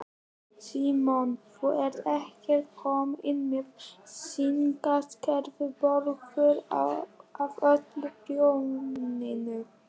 Símon: Þú ert ekkert komin með sinaskeiðabólgu af öllu prjóninu?